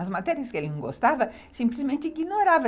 As matérias que ele não gostava, simplesmente ignorava.